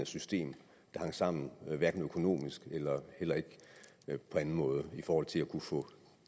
system der hang sammen hverken økonomisk eller på anden måde i forhold til at kunne få